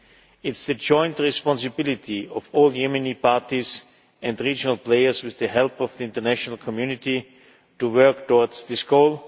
It is the joint responsibility of all Yemeni parties and regional players, with the help of the international community, to work towards this goal.